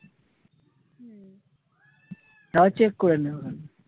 তাও check করে নিও।